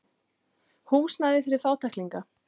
Húsnæði fyrir fátæklingana.